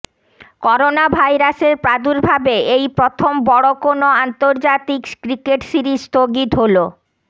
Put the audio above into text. করোনাভাইরাসের প্রাদুর্ভাবে এই প্রথম বড় কোনো আন্তর্জাতিক ক্রিকেট সিরিজ স্থগিত হলো